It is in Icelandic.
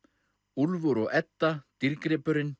Úlfur og Edda